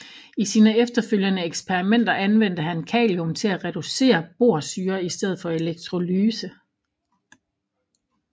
I sine efterfølgende eksperimenter anvendte han kalium til at reducere borsyre i stedet for electrolyse